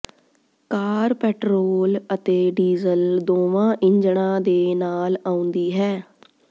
ਕਾਰ petrol ਅਤੇ diesel ਦੋਵਾਂ ਇੰਜਣਾਂ ਦੇ ਨਾਲ ਆਉਂਦੀ ਹੈ